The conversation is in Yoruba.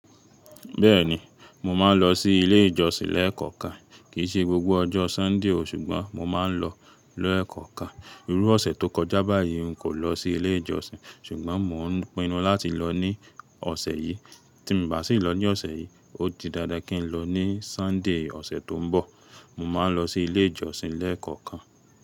Bẹ́ẹ̀ni, mo máa ń lọ sí ilé ìjọsìn lẹ́ẹ̀kọ̀kan. Kìí ṣe gbogbo ọjọ́ Sunday o, ṣùgbọ́n mo máa ń lọ lẹ́ẹ̀kọ̀kan. Irú ọ̀sẹ̀ tó kọjá báyìí n kò lọ sí ilé ìjọsìn, ṣùgbọ́n mò ń pinnu láti lọ ní ọ̀sẹ̀ yìí. Tí n bà ṣì lọ ní ọ̀sẹ̀ yìí, ó di dándán kí n lọ ní Sunday ọ̀sẹ̀ tó ń bọ̀. Mo máa ń lọ sí ilé ìjọsìn lẹ́ẹ̀kọ̀kan.